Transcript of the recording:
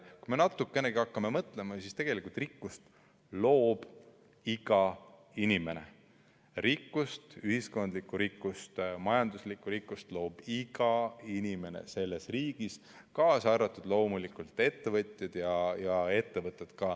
Kui me natukenegi hakkame mõtlema, siis mõistame, et tegelikult loob rikkust iga inimene, rikkust, ühiskondlikku rikkust, majanduslikku rikkust loob iga inimene selles riigis, kaasa arvatud loomulikult ettevõtjad ja ka ettevõtted.